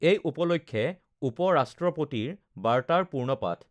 এই উপলক্ষে উপ ৰাষ্ট্ৰপতিৰ বাৰ্তাৰ পূৰ্ণপাঠঃ